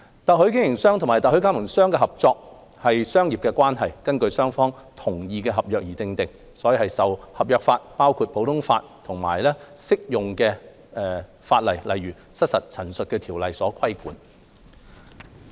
特許經營商與特許加盟商的合作是商業關係，根據雙方同意的合約而訂定，受合約法，包括普通法及適用法例，例如《失實陳述條例》所規管。